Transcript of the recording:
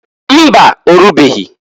Mba! Orubeghi.